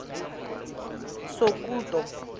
sokuto